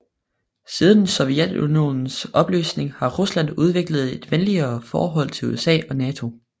Siden Sovjetunionens opløsning har Rusland udviklet et venligere forhold til USA og NATO